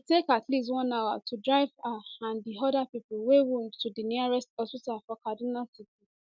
e take at least one hour to drive her and di oda pipo wey wound to di nearest hospital for kaduna city